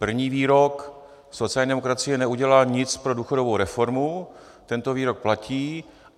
První výrok - sociální demokracie neudělala nic pro důchodovou reformu - tento výrok platí;